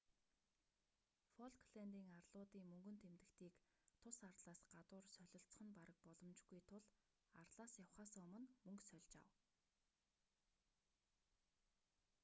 фолклэндийн арлуудын мөнгөн тэмдэгтийг тус арлаас гадуур солилцох нь бараг боломжгүй тул арлаас явахаасаа өмнө мөнгөө сольж ав